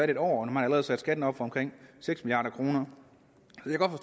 i en år og man har allerede sat skatten op for omkring seks milliard kroner